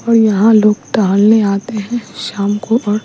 और यहां लोग टहलने आते हैं शाम को और --